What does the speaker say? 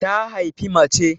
Ta haifi mace